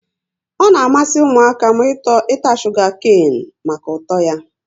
Ọ na amasị ụmụaka m ịta shuga kane maka ụtọ ya